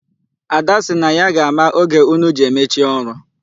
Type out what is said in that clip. Ada si na ya ga-ama oge unu ji emechi ọrụ.